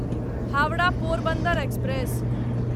Howrah Porbandar express